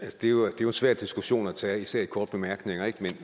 det jo en svær diskussion at tage især i korte bemærkninger